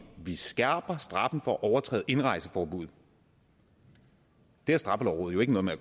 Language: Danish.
vi skærper straffen for at overtræde et indrejseforbud har straffelovrådet jo ikke noget med at